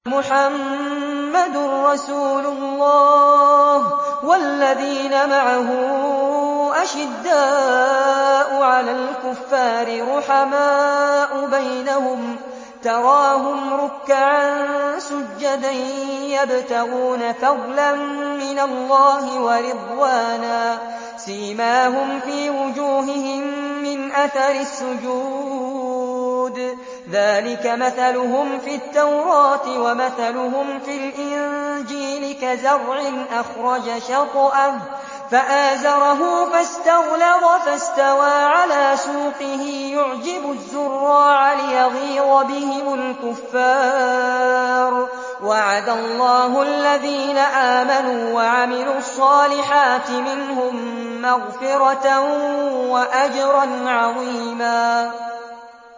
مُّحَمَّدٌ رَّسُولُ اللَّهِ ۚ وَالَّذِينَ مَعَهُ أَشِدَّاءُ عَلَى الْكُفَّارِ رُحَمَاءُ بَيْنَهُمْ ۖ تَرَاهُمْ رُكَّعًا سُجَّدًا يَبْتَغُونَ فَضْلًا مِّنَ اللَّهِ وَرِضْوَانًا ۖ سِيمَاهُمْ فِي وُجُوهِهِم مِّنْ أَثَرِ السُّجُودِ ۚ ذَٰلِكَ مَثَلُهُمْ فِي التَّوْرَاةِ ۚ وَمَثَلُهُمْ فِي الْإِنجِيلِ كَزَرْعٍ أَخْرَجَ شَطْأَهُ فَآزَرَهُ فَاسْتَغْلَظَ فَاسْتَوَىٰ عَلَىٰ سُوقِهِ يُعْجِبُ الزُّرَّاعَ لِيَغِيظَ بِهِمُ الْكُفَّارَ ۗ وَعَدَ اللَّهُ الَّذِينَ آمَنُوا وَعَمِلُوا الصَّالِحَاتِ مِنْهُم مَّغْفِرَةً وَأَجْرًا عَظِيمًا